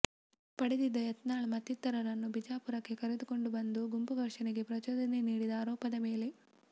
ಪಡೆದಿದ್ದ ಯತ್ನಾಳ್ ಮತ್ತಿತರರನ್ನು ಬಿಜಾಪುರಕ್ಕೆ ಕರೆದುಕೊಂಡು ಬಂದು ಗುಂಪು ಘರ್ಷಣೆಗೆ ಪ್ರಚೋದನೆ ನೀಡಿದ ಆರೋಪದ ಮೇಲೆ